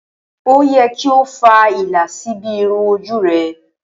Ó yẹ kí o fa ìlà síbi irun ojú rẹ.